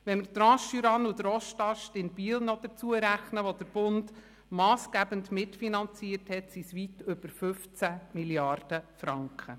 Wenn wir die Transjurane und den Ostast in Biel hinzurechnen, wo der Bund massgebend mitfinanziert hat, sind es weit über 15 Mrd. Franken.